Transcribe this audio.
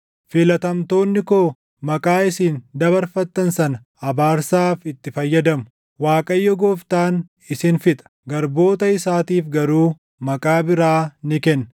Filatamtoonni koo maqaa isin dabarfattan sana abaarsaaf itti fayyadamu; Waaqayyo Gooftaan isin fixa; garboota isaatiif garuu maqaa biraa ni kenna.